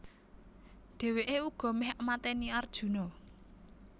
Dhèwèké uga méh maténi Arjuna